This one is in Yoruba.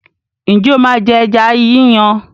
Ǹjẹ́ o máa jẹ ẹja yí yàn?